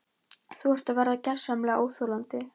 Þú ert að verða gersamlega óþolandi!